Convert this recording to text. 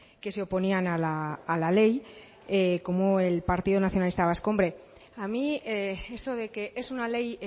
que se oponían a la ley como el partido nacionalista vasco hombre a mí eso de que es una ley